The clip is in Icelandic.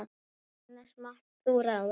annars mátt þú ráða.